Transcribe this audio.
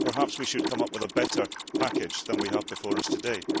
Perhaps we should come up with a better package than the one we have before us today.